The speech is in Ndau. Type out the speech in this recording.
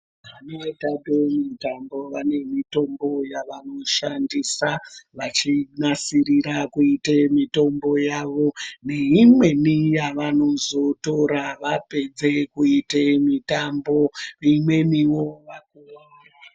Vanotambe mitambo vane mitambo yaanoshanda vechinasira kuite mitambo yavoneimweni yavanozotora vapedza kuita mitambo imweni wo vanotora pavanenge vakuwara.